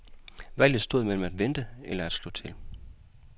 Valget stod mellem at vente eller at slå til.